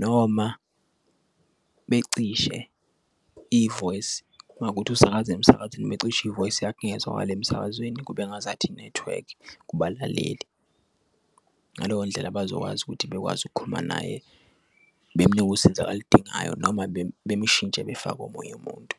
noma becishe i-voice kungawukuthi usakaza emsakazweni becisha i-voice yakhe ingazwakali emsakazweni kube engazathi i-network kubalaleli. Ngaleyo ndlela bazokwazi ukuthi bekwazi ukukhuluma naye bemnike usiza akaludingayo noma bemshintshe befake omunye umuntu.